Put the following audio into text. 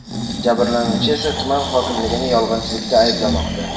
Jabrlanuvchi esa tuman hokimligini yolg‘onchilikda ayblamoqda.